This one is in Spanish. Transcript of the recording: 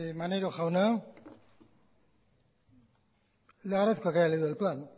maneiro jauna le agradezco que haya leído el plan